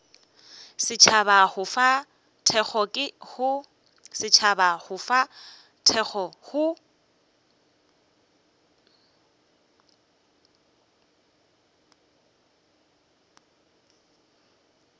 setšhaba go fa thekgo go